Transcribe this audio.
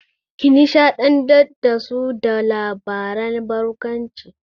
Ki nishaɗantar da su da labaran barkwanci!